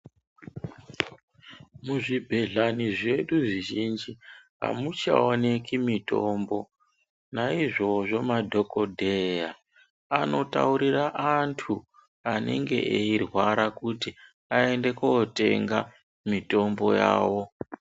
Muzvibhehlani zvedu zvizhinji amuchaoneki mitombo naizvozvo madhokodheya anotaurira antu anenge eyirwara kuti ayende kotenga mitombo yawo.